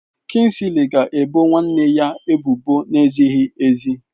Kingsley ga ebo nwanne ya ebubo na-ezighị ezi